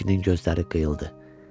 kişinin gözləri qıyıldı.